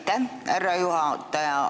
Aitäh, härra juhataja!